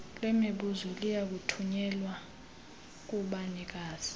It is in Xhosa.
lwemibuzo liyakuthunyelwa kubanikazi